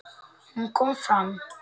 Hún kom fram.